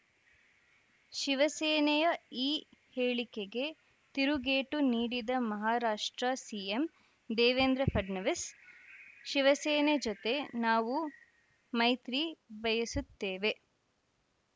ಶಿವಸೇನೆಯ ಈ ಹೇಳಿಕೆಗೆ ತಿರುಗೇಟು ನೀಡಿದ ಮಹಾರಾಷ್ಟ್ರ ಸಿಎಂ ದೇವೇಂದ್ರ ಫಡ್ನವೀಸ್‌ ಶಿವಸೇನೆ ಜೊತೆ ನಾವು ಮೈತ್ರಿ ಬಯಸುತ್ತೇವೆ